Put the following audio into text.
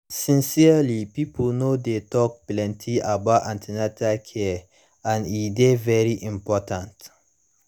sincerely pipo no dey talk plenty about an ten atal care and e dey very important